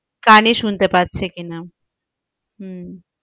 কানে শুনতে পাচ্ছে কি না হম,